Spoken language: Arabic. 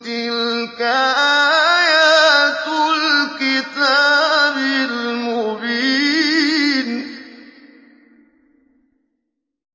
تِلْكَ آيَاتُ الْكِتَابِ الْمُبِينِ